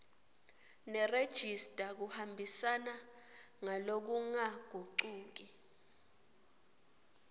nerejista kuhambisana ngalokungagucuki